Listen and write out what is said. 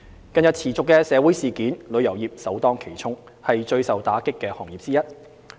近日持續的社會事件，旅遊業首當其衝，是最受打擊的行業之一。